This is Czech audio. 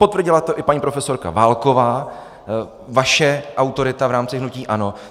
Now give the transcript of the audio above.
Potvrdila to i paní profesorka Válková, vaše autorita v rámci hnutí ANO.